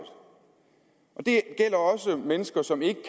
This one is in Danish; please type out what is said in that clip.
det gælder også mennesker som ikke